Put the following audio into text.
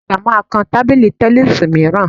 Ọ̀ga àgbà máa kan tábìlì tẹníìsì mìíràn